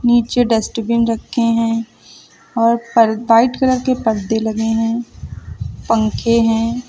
नीचे डस्टबिन रखें हैं और पर वाइट कलर के पर्दे लगे हैं पंखे है।